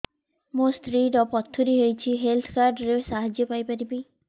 ମୋ ସ୍ତ୍ରୀ ର ପଥୁରୀ ହେଇଚି ହେଲ୍ଥ କାର୍ଡ ର ସାହାଯ୍ୟ ପାଇପାରିବି